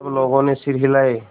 सब लोगों ने सिर हिलाए